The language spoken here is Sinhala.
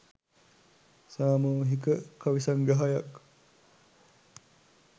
සාමූහික කවි සංග්‍රහයක්